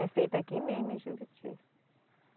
É feito aqui mesmo em Juruti.